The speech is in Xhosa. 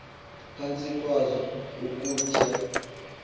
phantsi kwazo ukutya